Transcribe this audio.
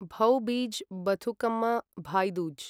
भौ बीज् बथुकम्म भाई दूज्